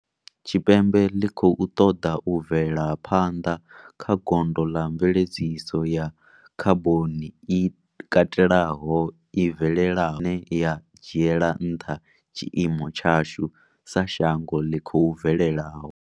Tshipembe ḽi khou ṱoḓa u bvela phanḓa kha gondo ḽa mveledziso ya khaboni i katelaho, i bvelelaho nahone ine ya dzhiela nṱha tshiimo tshashu sa shango ḽi khou bvelelaho.